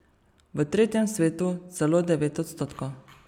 V tretjem svetu celo devet odstotkov.